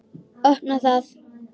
Opna það.